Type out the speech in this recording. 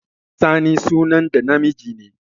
Sani sunan ɗa namiji ne